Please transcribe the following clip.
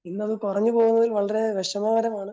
ഇന്നത് കുറഞ്ഞ പോയതിൽ വളരെ വിഷമകരമാണ്.